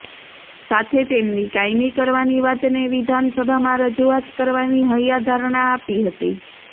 સાથે તેમની કાયમી કરવાની વાતને વિધાનસભામાં રજુઆત કરવાની હૈયાધારણા આપી હતી